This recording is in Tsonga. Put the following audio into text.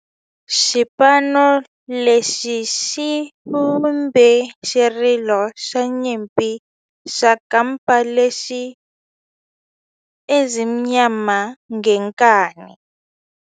Xipano lexi xi vumbe xirilo xa nyimpi xa kampa lexi nge 'Ezimnyama Ngenkani'.